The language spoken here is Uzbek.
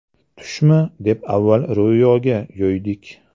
Tushmi, deb avval Ro‘yoga yo‘ydik.